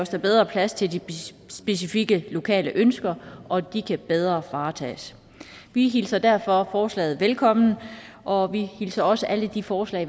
der bedre plads til de specifikke lokale ønsker og de kan bedre varetages vi hilser derfor forslaget velkommen og vi hilser også alle de forslag